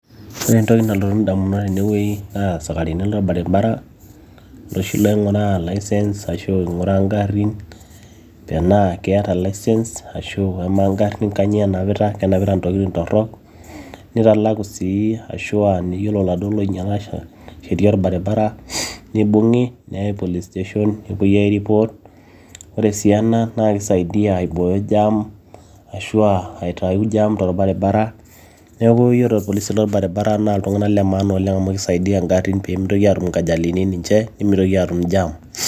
ore entoki nalotu indamunot tenewueji naa isikarini lorbaribara iloshi loing'uraa license ashu ing''uraa ingarrin tenaa keeta license ashu amaa ngarrin kanyio enapita kenapita ntokitin torrok nitalaku sii ashua yiolo laduo loinyiala sheria orbaribara nibung'i neyai police station nepuoi ai report ore sii ena naa kisaidiyia aibooyo jam ashu aitayu jam torbaribara neeku yiolo irpolisi lorbaribara naa iltung'anak le maana oleng amu kisaidiyia ingarrin peemitoki atum inkajalini ninche nemitoki atum jam.